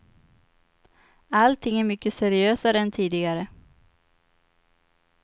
Allting är mycket seriösare än tidigare.